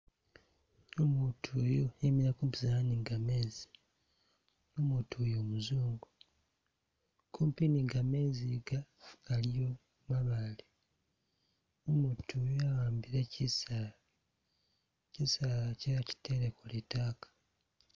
Umutu uyu emile kupizana ni gamezi, umutu uyu umuzungu kupi nigamezi ga aliyo mabaale, umutu yu ahambile chisaala, chisaalachi achitele kulitaaka.